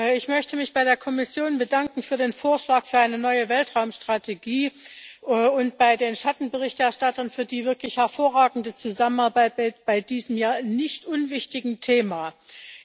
Ich möchte mich bei der Kommission für den Vorschlag für eine neue Weltraumstrategie und bei den Schattenberichterstattern für die wirklich hervorragende Zusammenarbeit bei diesem nicht unwichtigen Thema bedanken.